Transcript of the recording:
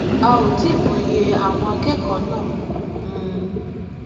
a ò tí ì mòye àwọn akẹkọọ náà um